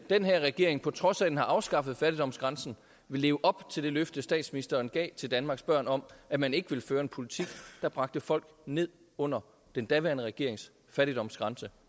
den her regering på trods af at den har afskaffet fattigdomsgrænsen vil leve op til det løfte statsministeren gav til danmarks børn om at man ikke ville føre en politik der bragte folk ned under den daværende regerings fattigdomsgrænse